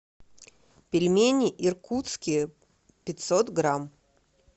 пельмени иркутские пятьсот грамм